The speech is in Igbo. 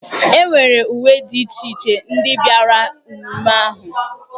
E nwere uwe dị iche iche ndị bịara ememme ahụ yi.